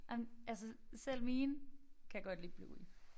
Ej men altså selv mine kan godt lide Bluey